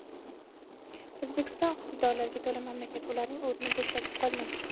O‘zbekiston iqtidorlarga to‘la mamlakat, ularning o‘rni bo‘shab qolmaydi.